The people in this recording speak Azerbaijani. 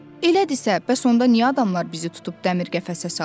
Elədirsə, bəs onda niyə adamlar bizi tutub dəmir qəfəsə salırlar?